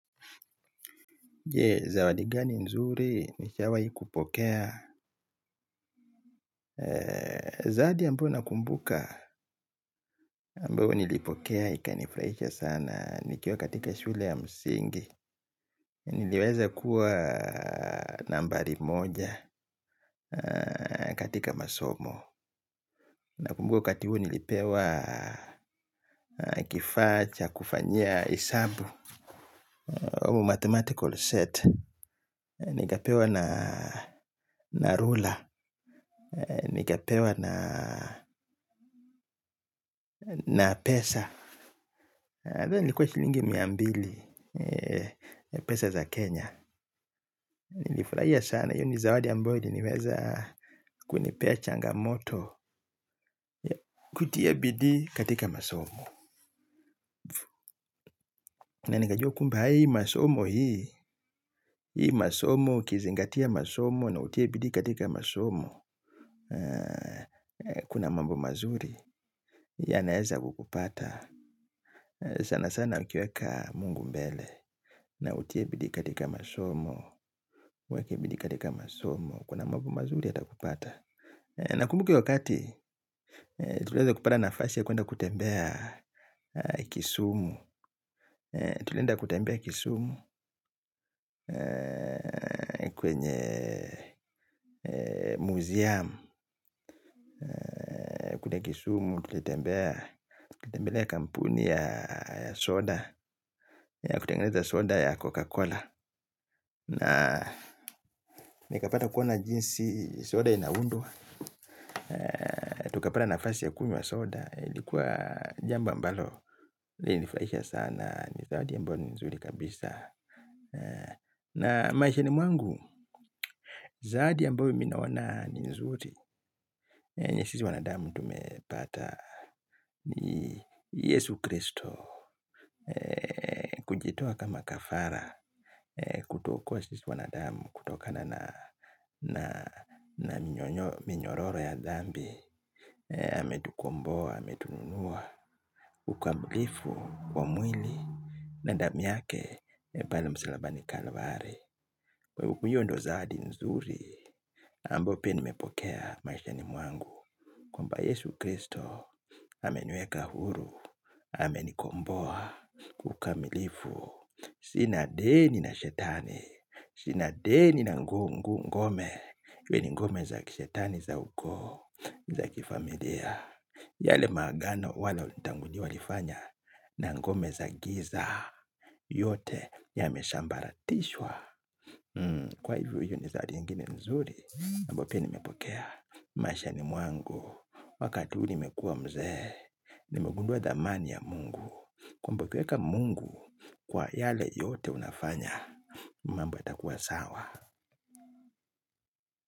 Je, zawadi gani nzuri nishawahi kupokea? Zawadi ambayo nakumbuka, ambayo nilipokea, ikanifurahisha sana. Nikiwa katika shule ya msingi. Niliweza kuwa nambari moja katika masomo. Nakumbuka wakati huo nilipewa kifaa cha, kufanya, hesabu. Ama mathematical set. Nikapewa na ruler. Nikapewa na pesa. Ilikuwa shilingi miambili pesa za Kenya. Nilifurahia sana kwani zawadi ambayo inaweza kunipa changamoto. Kutia bidii katika masomo na nikajua kumbe haya masomo haya. Haya masomo kuzingatia masomo na kutia bidii katika masomo. Kuna mambo mazuri yanaweza kupata sana sana ukiweka Mungu mbele na utie bidii katika masomo. Weka bidii katika somo. Kuna mambo mazuri yatakupata. Na nakumbuka wakati tulienda kupata nafasi ya kwenda kutembea Kisumu. Tulenda kutembea kisumu Kwenye Museum kutembea Kisumu, kutembelea kampuni ya soda, kutengeneza soda ya Coca-Cola, na nikapata kuona jinsi soda inaundwa. Tukapata nafasi ya kunywa soda. Lilikuwa jambo ambalo lilinifurahisha sana. Ni zawadi ambayo ni nzuri kabisa. Na maishani mwangu zawadi ambayo mimi naona ni nzuri. Ni yenye wanadamu tumepata. Ni Yesu Kristo. Kujitoa kama kafara, kutokuwa sisi wanadamu, kutokana na minyororo ya dhambi. Ametukomboa, ametununua kikamilifu, kwa mwili na damu yake, pale msalabani Kalvari. Kwa hakika ndiyo zawadi nzuri zaidi. Ambayo pia nimepokea maishani mwangu Kwamba Yesu Kristo ameniweka huru. Amenikomboa kikamilifu, sina deni na shetani. Sina deni na ngome. Iwe ni ngome za kishetani za huko, za kifamilia. Yale maagano wale walitangulia walifanya na ngome za giza yote yamesambaratishwa. Kwa hivyo hiyo ni zawadi ingine nzuri zaidi ambayo pia nimepokea. Maishani mwangu, wakati huu nimekuwa mzee, nimegundua thamani ya Mungu. Kwa kumpokea Mungu kwa yale yote unafanya, mambo yatakuwa sawa.